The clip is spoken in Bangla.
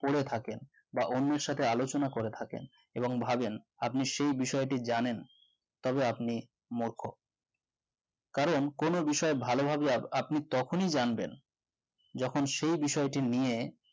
করে থাকেন বা অন্যের সাথে আলোচনা করে থাকেন এবং ভাবেন আপনি সেই বিষয়টি জানেন তবে আপনি মূর্খ কারণ কোন বিষয় ভালো হবে আপনি তখনই জানবেন যখন সে বিষয়টি নিয়ে